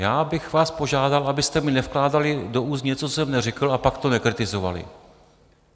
Já bych vás požádal, abyste mi nevkládali do úst něco, co jsem neřekl, a pak to nekritizovali.